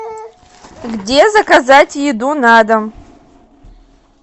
где заказать еду на дом